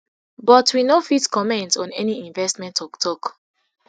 but we no fit comment on any investment toktok